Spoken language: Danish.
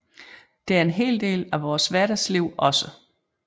Det er en hel del af vores hverdagsliv også